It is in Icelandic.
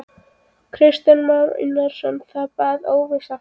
Kristján Már Unnarsson: Það er bara óvissa framundan?